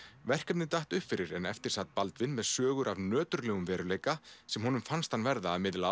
verkefnið datt upp fyrir en eftir sat Baldvin með sögur af nöturlegum veruleika sem honum fannst hann verða að miðla